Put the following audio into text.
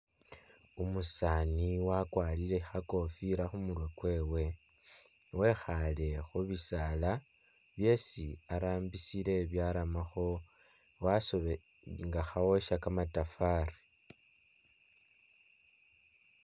Umusani wakwarile khakoofila khumurwe kwewe wekhale khubisaala byesi arambisile byaramakho [?] nga kawosha kamatafari.